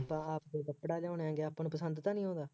ਆਪਾਂ ਆਪ ਕੋਈ ਕੱਪੜਾ ਲਿਆਉਂਦੇ ਹੈਗੇ ਹਾਂ, ਆਪਾਂ ਨੂੰ ਪਸੰਦ ਤਾਂ ਨਹੀਂ ਆਉਂਦਾ